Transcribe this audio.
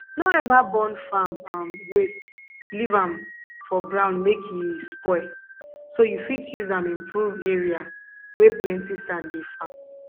no ever burn farm um waste leave um for ground make e um spoil so you fit use um improve area wey plenty sand dey farm